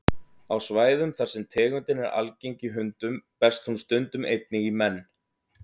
Á svæðum þar sem tegundin er algeng í hundum berst hún stundum einnig í menn.